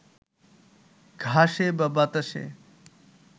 ঘাসে বা বাতাসে